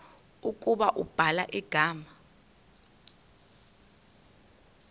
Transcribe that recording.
ukuba ubhala igama